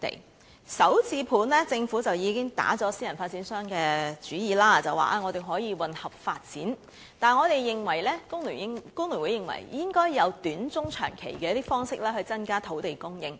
關於"港人首置上車盤"，政府已經打了私人發展商的主意，表示可以混合發展，但我們工聯會認為應該有短、中、長期方式去增加土地供應。